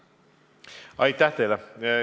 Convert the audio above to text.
Aitäh!